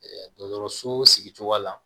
dɔgɔtɔrɔso sigi cogoya la